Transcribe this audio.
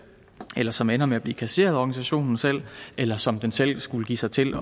eller som ender med at blive kasseret af organisationen selv eller som den selv skulle give sig til